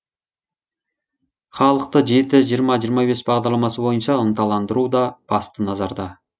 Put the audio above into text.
халықты жеті жиырма жиырма бес бағдарламасы бойынша ынталандыру да басты назарда